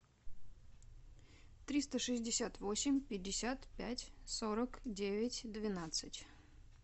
триста шестьдесят восемь пятьдесят пять сорок девять двенадцать